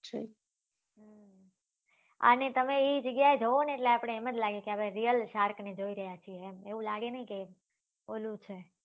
અને તમે એ જગ્યા એ જોવો એટલે આપડે એમ જ લાગે આપડે real shark ને જોઈ રહ્યા છીએ એવું લાગે નહિ કે ઓલું છે